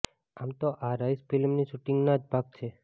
આમ તો આ રઈસ ફિલ્મની શૂંટિંગના જ ભાગ છે